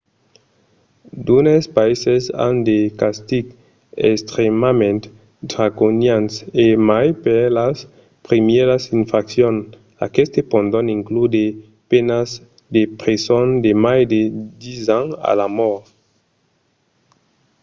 d'unes païses an de castigs extrèmament draconians e mai per las primièras infraccions; aquestes pòdon inclure de penas de preson de mai de 10 ans o la mòrt